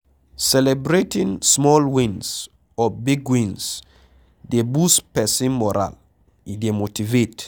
Celebrating small wins or big wins dey boost person moral, e dey motivate